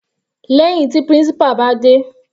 Lẹ́hìn tí principal bá dé.